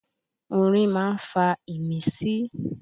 Orin ma ń fa ìmísí.